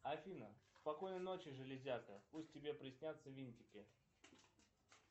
афина спокойной ночи железяка пусть тебе приснятся винтики